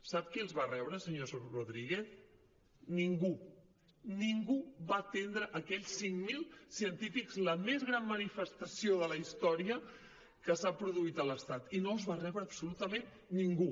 sap qui els va rebre senyor rodríguez ningú ningú va atendre aquells cinc mil científics la més gran manifestació de la història que s’ha produït a l’estat i no els va rebre absolutament ningú